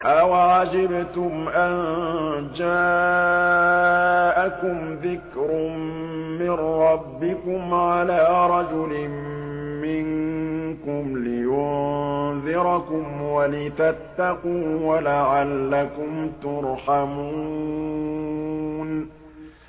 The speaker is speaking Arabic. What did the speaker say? أَوَعَجِبْتُمْ أَن جَاءَكُمْ ذِكْرٌ مِّن رَّبِّكُمْ عَلَىٰ رَجُلٍ مِّنكُمْ لِيُنذِرَكُمْ وَلِتَتَّقُوا وَلَعَلَّكُمْ تُرْحَمُونَ